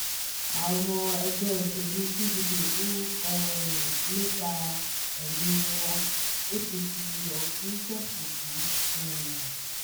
àwọn ọmọ ẹgbẹ́ òṣèlú pdp ń um lépa èmí-ín wa- apc ọ̀ṣun fẹ̀sùn kàn um